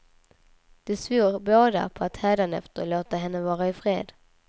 De svor båda på att hädanefter låta henne vara i fred.